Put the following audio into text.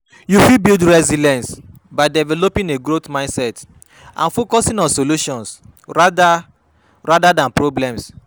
You fit build resilience by developing a growth mindset and focusing on solutions rather rather than problems.